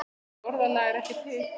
Þetta orðalag er ekki til.